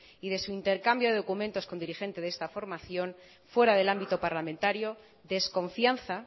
y de su intercambio de documentos con dirigente de esta formación fuera del ámbito parlamentario desconfianza